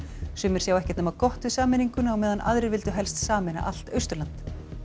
sumir sjá ekkert nema gott við sameininguna á meðan aðrir vildu helst sameina allt Austurland